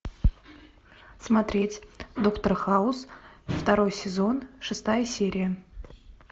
смотреть доктор хаус второй сезон шестая серия